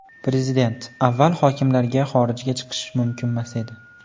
Prezident: Avval hokimlarga xorijga chiqish mumkinmas edi.